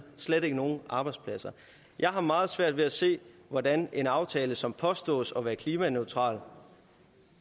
slet ikke nogen arbejdspladser jeg har meget svært ved at se hvordan en aftale som påstås at være klimaneutral